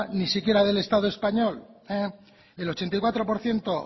ni siquiera del estado el ochenta y cuatro por ciento